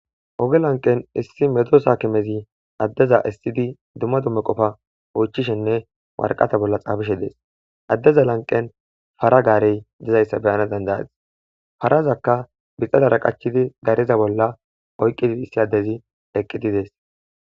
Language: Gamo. Oge lanqen issi medosa kimezi addeza issidi dumma dumme qofa oychishenne warqata bolla xaafishe dees addeza lanqen fara gaarey dizayssa beyana dandayazis farazakka bixadara qachidi gareza bolla oyqqidi issi addezi eqqididees.